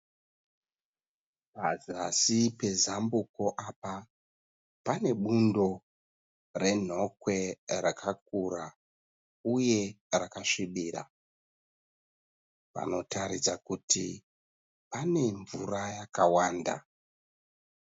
Pazasi pezambuko apa pane bundo renhokwe rakakura uye rakasvibira. Panotaridza kuti pane mvura yawanda.